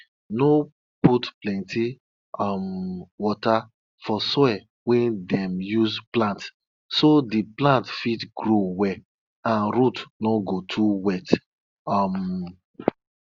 them dey teach pikin from small say make them respect animal wey them use for sacrifice them no dey use am play.